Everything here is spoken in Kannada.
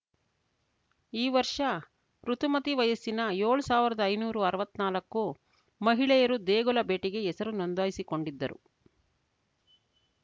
ಈ ವರ್ಷ ಋುತುಮತಿ ವಯಸ್ಸಿನ ಏಳ್ ಸಾವಿರ್ದಾ ಐನೂರು ಅರ್ವಾತ್ನಾಲ್ಕು ಮಹಿಳೆಯರು ದೇಗುಲ ಭೇಟಿಗೆ ಹೆಸರು ನೊಂದಾಯಿಸಿಕೊಂಡಿದ್ದರು